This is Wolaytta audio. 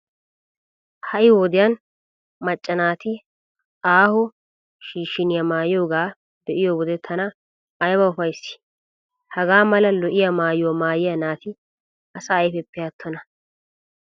Ha"i wodiyan macca naati aaho shiishiniya maayiyogaa be'iyo wode tana ayba ufayssii! Hagaa mala lo"iya maayuwa maayiya naati asa ayfeppe attona!